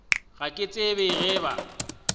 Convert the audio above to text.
ga ke tsebe ge ba